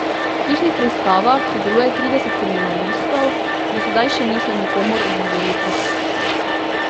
V hišnih preiskavah sodeluje trideset kriminalistov, do sedaj še niso nikomur odvzeli prostosti.